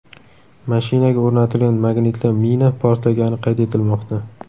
Mashinaga o‘rnatilgan magnitli mina portlagani qayd etilmoqda.